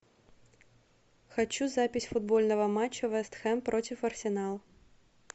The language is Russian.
хочу запись футбольного матча вест хэм против арсенала